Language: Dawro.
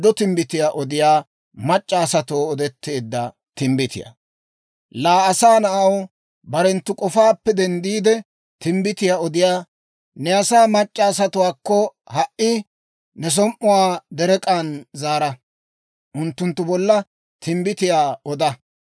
«Laa asaa na'aw, barenttu k'ofaappe denddiide, timbbitiyaa odiyaa ne asaa mac'c'a asatuwaakko ha"i ne som"uwaa derek'k'aan zaara; unttunttu bolla timbbitiyaa oda.